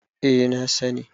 eh na sani